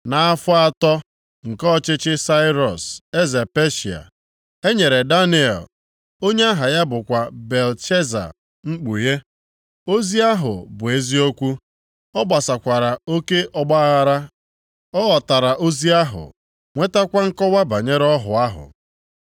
Nʼafọ atọ nke ọchịchị Sairọs eze Peshịa, e nyere Daniel (onye aha ya bụkwa Belteshaza mkpughe). Ozi ahụ bụ eziokwu, ọ gbasakwara oke ọgbaaghara. Ọ ghọtara ozi ahụ, nwetakwa nkọwa banyere ọhụ ahụ.